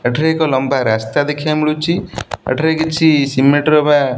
ଏଠାରେ ଏକ ଲମ୍ବା ରାସ୍ତା ଦେଖିବାକୁ ମିଳୁଛି। ଏଠାରେ କିଛି ସିମେଣ୍ଟ ର ବା --